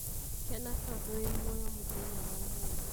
kena tondũ wĩ muoyo mũthenya wa ũmũthĩ.